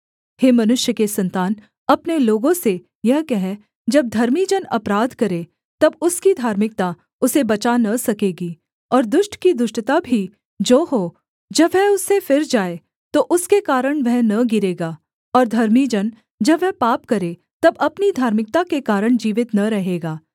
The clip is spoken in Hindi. हे मनुष्य के सन्तान अपने लोगों से यह कह जब धर्मी जन अपराध करे तब उसकी धार्मिकता उसे बचा न सकेगी और दुष्ट की दुष्टता भी जो हो जब वह उससे फिर जाए तो उसके कारण वह न गिरेगा और धर्मी जन जब वह पाप करे तब अपनी धार्मिकता के कारण जीवित न रहेगा